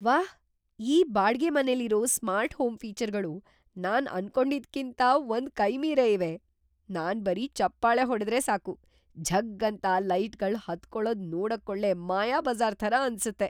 ವಾಹ್! ಈ ಬಾಡ್ಗೆಮನೆಲಿರೋ ಸ್ಮಾರ್ಟ್ ಹೋಮ್‌ ಫೀಚರ್‌ಗಳು ನಾನ್‌ ಅನ್ಕೊಂಡಿದ್ಕಿಂತ ಒಂದ್‌ ಕೈ ಮೀರೇ ಇವೆ. ನಾನ್‌ ಬರೀ ಚಪ್ಪಾಳೆ ಹೊಡ್ದ್ರೆ ಸಾಕು, ಝಗ್ಗ್‌ ಅಂತ ಲೈಟ್‌ಗಳ್‌ ಹತ್ಕೊಳದ್‌ ನೋಡಕ್ಕೊಳ್ಳೆ ಮಾಯಾಬಜಾ಼ರ್‌ ಥರ ಅನ್ಸತ್ತೆ!